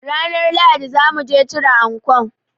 Ranar Lahadi zamuji cire ankon